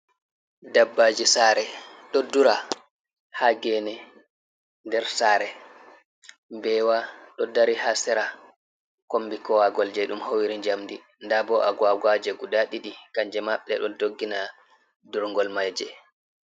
Dabbaji sare ɗo dura ha geene nder saare. Mbeewa ɗo dari ha sera kombi kowagol jei ɗon howiri njamdi, ndabo agwagwaje guda ɗiɗi, kanje ma ɗe ɗo doggina durngol maje.